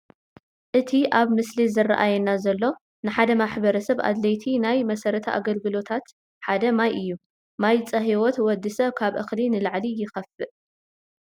እቲ ኣብቲ ምስሊ ዝራኣየና ዘሎ ንሓደ ማሕበረሰብ ኣድለይቲ ናይ መሰረተ ኣገልግሎታት ሓደ ማይ እዩ፡፡ ማይ ፀሂወት ወዲ ሰብ ካብ እኽሊ ንላዕሊ ይኸፍእ፡፡